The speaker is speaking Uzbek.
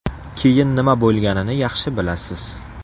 Keyin nima bo‘lganini yaxshi bilasiz.